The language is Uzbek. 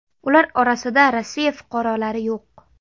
Ular orasida Rossiya fuqarolari yo‘q.